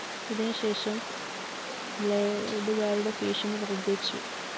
ഇതിന് ശേഷം ബ്‌ളേഡുകരുടെ ഭീഷണി വര്‍ദ്ധിച്ചു